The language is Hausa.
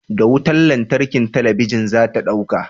Da wutar lantarki talabijin za ta dauka.